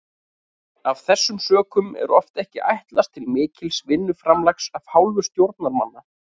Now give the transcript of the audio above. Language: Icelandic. Af þessum sökum er oft ekki ætlast til mikils vinnuframlags af hálfu stjórnarmanna.